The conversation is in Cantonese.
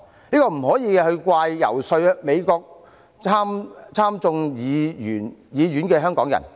這不可以怪責遊說美國參眾兩院的香港人。